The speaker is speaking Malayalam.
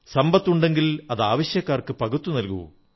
സമ്പത്തുണ്ടെങ്കിലതാവശ്യക്കാർക്ക് പകുത്തുനൽകൂ